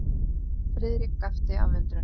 Friðrik gapti af undrun.